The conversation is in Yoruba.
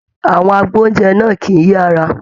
Àwọn agboúnjẹ náà kìí yára.